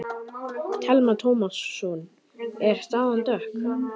Telma Tómasson: Er staðan dökk?